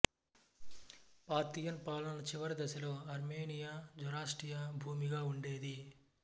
Parthian పాలన చివరి దశలో ఆర్మేనియా జొరాస్ట్రియా భూమిగా ఉండేది